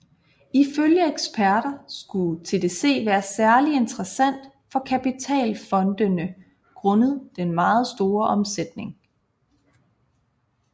Ifølge eksperter skulle TDC være særlig interessant for kapitalfondene grundet den meget store omsætning